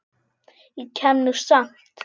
Ég kem nú samt!